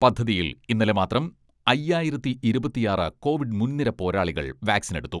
പദ്ധതിയിൽ ഇന്നലെ മാത്രം അയ്യായിരത്തി ഇരുപത്തിയാറ് കോവിഡ് മുൻനിര പോരാളികൾ വാക്സിനെടുത്തു.